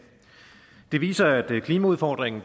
det viser at klimaudfordringen